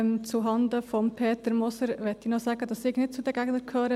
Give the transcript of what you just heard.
Zuhanden von Peter Moser möchte ich noch sagen, dass ich nicht zu den Gegnern gehöre.